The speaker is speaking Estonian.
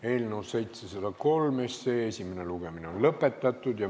Eelnõu 703 esimene lugemine on lõpetatud.